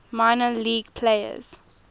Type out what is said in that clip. minor league players